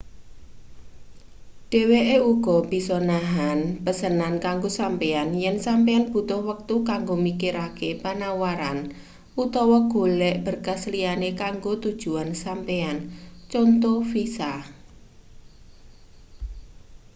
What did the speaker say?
dheweke uga bisa nahan pesenan kanggo sampeyan yen sampeyan butuh wektu kanggo mikirake panawaran utawa golek berkas liyane kanggo tujuan sampeyan conto visa